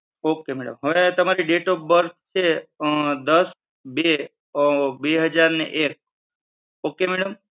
ok madam હવે તમારી date of birth છે અ દસ બે બે હજારને એક ok madam?